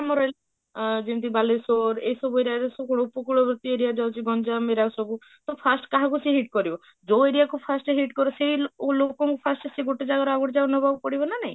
ଆମର ଯେମିତି ଅ ଯେମିତି ବାଲେଶ୍ବର ଏଇ ସବୁ area ରେ ସବୁ ଉପକୂଳ ଗତି area ଯାଉଛି ଜଞ୍ଜାମ ଏଇଗୁଡା ସବୁ ତ first କାହାକୁ ସେ hit କରିବ, ଯୋଉ area କୁ first hit କରିବ ସେଇ ଲୋକଙ୍କୁ first ଗୋଟେ ଜାଗାରୁ ଆଉ ଗୋଟେ ଜାଗାକୁ ନବାକୁ ପଡିବ ନା ନାହିଁ?